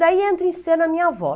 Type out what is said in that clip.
Daí entra em cena minha avó.